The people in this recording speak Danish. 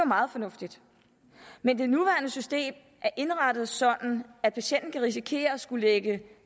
meget fornuftigt men det nuværende system er indrettet sådan at patienten kan risikere at skulle lægge